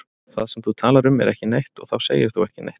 Það sem þú talar um er ekki neitt og þá segir þú ekki neitt.